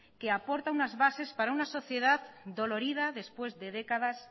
que aporta unas bases para una sociedad dolorida después de décadas